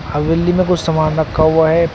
हवेली में कुछ सामान रखा हुआ है।